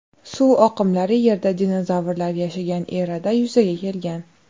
Suv oqimlari Yerda dinozavrlar yashagan erada yuzaga kelgan.